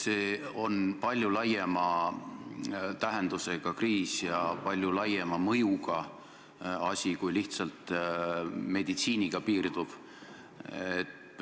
See on palju laiema tähendusega kriis ja palju laiema mõjuga asi, kui lihtsalt meditsiiniga piirduv.